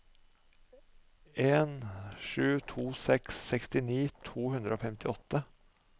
en sju to seks sekstini to hundre og femtiåtte